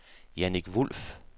Jannik Wulff